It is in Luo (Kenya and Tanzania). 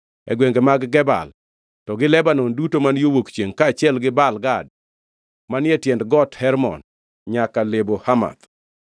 e gwenge mag Gebal; to gi Lebanon duto ma yo wuok chiengʼ, kaachiel gi Baal Gad manie tiend Got Hermon nyaka Lebo Hamath.